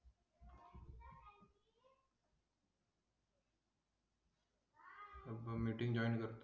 meeting join करतो.